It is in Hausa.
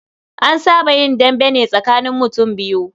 An saba yin dambe ne tsakanin mutum biyu.